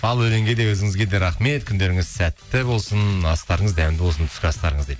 ал өлеңге де өзіңізге де рахмет күндеріңіз сәтті болсын астарыңыз дәмді болсын түскі астарыңыз дейді